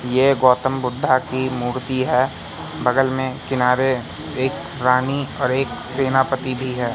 ये गौतम बुद्धा की मूर्ति है बगल में किनारे एक रानी और एक सेनापति भी है।